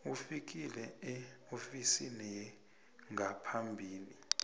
ufike eofisini yengaphambi